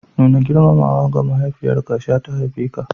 Nuna girmamawa ga mahaifiyarka, sha ta haife ka.